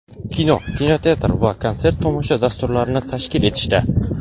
kino (kinoteatr) va konsert-tomosha dasturlarini tashkil etishda:.